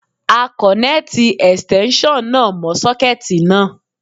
A kọ̀nẹ́ẹ̀tì Ẹ̀stẹ́nṣọ̀n náà mọ́ sọ́kẹ́ẹ̀tì náà.